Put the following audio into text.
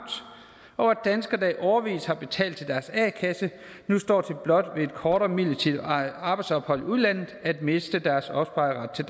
og at danskere der i årevis har betalt til deres a kasse nu står til blot ved et kortere midlertidigt arbejdsophold i udlandet at miste deres opsparede ret til